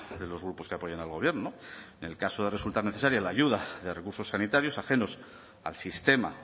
de los grupos que apoyan al gobierno en el caso de resultar necesaria la ayuda de recursos sanitarios ajenos al sistema